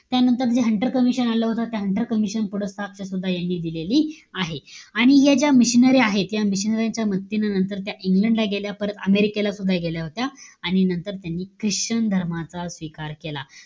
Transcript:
त्यानंतर जे Hunter commission आलं होतं. ते हंटर कमिशन पुढं साक्ष सुद्धा यांनी दिलेली आहे. आणि ह्या ज्या missionary आहेत. या missionary च्या मृत्यूनंतर त्या इंग्लंड ला गेल्या. परत अमेरिकेला सुद्धा गेल्या होत्या. आणि नंतर त्यांनी ख्रिश्चन धर्माचा स्वीकार केला.